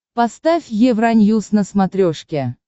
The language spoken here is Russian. поставь евроньюс на смотрешке